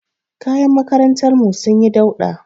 Kayan makarantar mu sun yi dauɗa